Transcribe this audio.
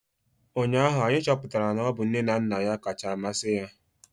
Ụnyahụ anyị chọpụtara na ọ bụ nne na nna ya kacha amasị ya